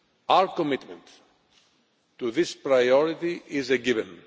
Our commitment to this priority is a given.